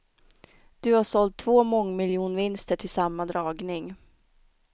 Du har sålt två mångmiljonvinster till samma dragning.